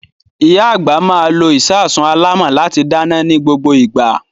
Ìyá àgbà máa lo ìṣasùn alámọ̀ láti dáná ní gbogbo ìgbà.